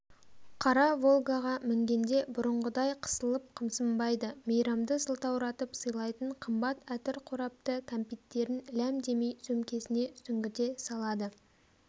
қара волгаға мінгенде бұрынғыдай қысылып-қымсынбайды мейрамды сылтауратып сыйлайтын қымбат әтір қорапты кәмпиттерін ләм демей сөмкесіне сүңгіте салады